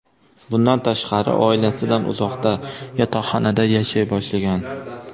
Bundan tashqari, oilasidan uzoqda, yotoqxonada yashay boshlagan.